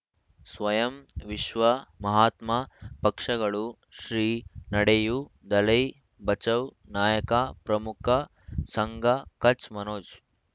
ಸ್ವಯಂ ವಿಶ್ವ ಮಹಾತ್ಮ ಪಕ್ಷಗಳು ಶ್ರೀ ನಡೆಯೂ ದಲೈ ಬಚೌ ನಾಯಕ ಪ್ರಮುಖ ಸಂಘ ಕಚ್ ಮನೋಜ್